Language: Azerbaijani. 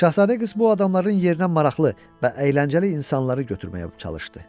Şahzadə qız bu adamların yerinə maraqlı və əyləncəli insanları götürməyə çalışdı.